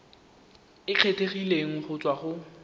e kgethegileng go tswa go